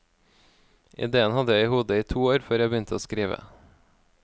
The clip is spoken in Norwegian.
Idéen hadde jeg i hodet i to år før jeg begynte å skrive.